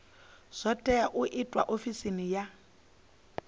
tea u itwa ofisini ya